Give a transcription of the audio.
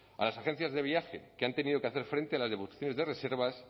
a las agencias de viaje que han tenido que hacer frente a las devoluciones de reservas